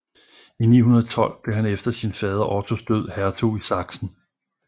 I 912 blev han efter sin fader Ottos død hertug i Sachsen